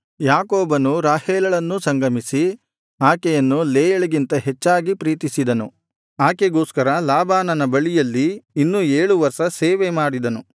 ಯಾಕೋಬನು ರಾಹೇಲಳನ್ನೂ ಸಂಗಮಿಸಿ ಆಕೆಯನ್ನು ಲೇಯಳಿಗಿಂತ ಹೆಚ್ಚಾಗಿ ಪ್ರೀತಿಸಿದನು ಆಕೆಗೋಸ್ಕರ ಲಾಬಾನನ ಬಳಿಯಲ್ಲಿ ಇನ್ನೂ ಏಳು ವರ್ಷ ಸೇವೆಮಾಡಿದನು